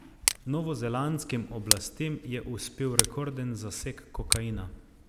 Novozelandskim oblastem je uspel rekorden zaseg kokaina.